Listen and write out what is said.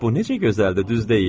“Bu necə gözəldir, düz deyil?”